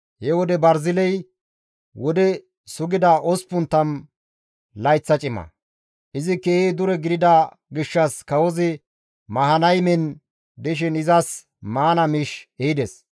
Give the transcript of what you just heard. He wode Barziley wode sugida 80 layththa cima; izi keehi dure gidida gishshas kawozi Mahanaymen dishin izas maana miish ehides.